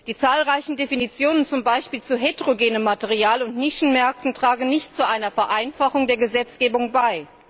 Die zahlreichen Definitionen zum Beispiel zu heterogenem Material und Nischenmärkten tragen nicht zu einer Vereinfachung der Gesetzgebung bei.